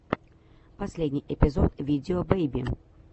последний эпизод видео бэйби